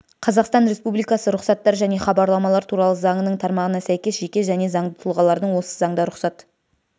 қазақстан республикасы рұқсаттар және хабарламалар туралы заңының тармағына сәйкес жеке және заңды тұлғалардың осы заңда рұқсат